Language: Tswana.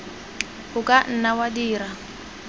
o ka nna wa dira